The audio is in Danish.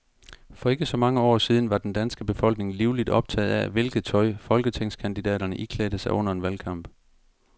For ikke så mange år siden var den danske befolkning livligt optaget af, hvilket tøj folketingskandidaterne iklædte sig under en valgkamp.